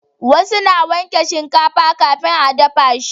wasu na wanke shinkafa kafin a dafa shi